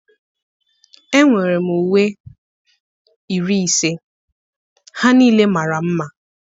Enwere m uwe 50, ha niile mara mma